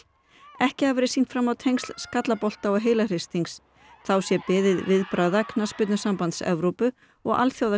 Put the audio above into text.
ekki hafi verið sýnt fram á tengsl skallabolta og þá sé beðið viðbragða Knattspyrnusambands Evrópu og Alþjóða